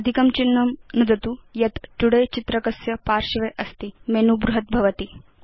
अधिकं चिह्नं नुदतु यत् तोदय चित्रकस्य पार्श्वे अस्ति मेनु बृहत् भवति